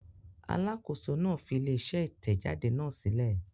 Alákòóso náà fi ilé-iṣẹ́ Ìtẹ̀jáde náà sílẹ̀.